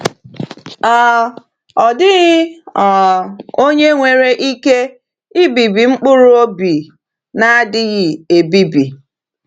um Ọ dịghị um onye nwere ike ibibi mkpụrụ obi na-adịghị ebibi.